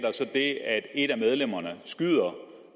det at et af medlemmerne skyder